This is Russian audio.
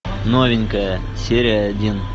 новенькая серия один